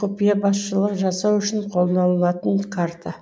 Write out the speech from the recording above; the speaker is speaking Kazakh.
құпия басшылық жасау үшін қолданылатын карта